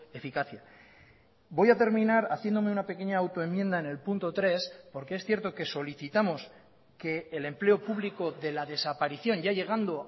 eficacia voy a terminar haciéndome una pequeña autoenmienda en el punto tres porque es cierto que solicitamos que el empleo público de la desaparición ya llegando